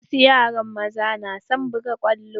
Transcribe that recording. Wasu yara maza na son buga kwallo.